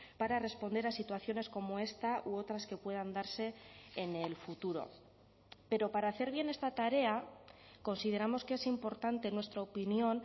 para responder a situaciones como esta u otras que puedan darse en el futuro pero para hacer bien esta tarea consideramos que es importante en nuestra opinión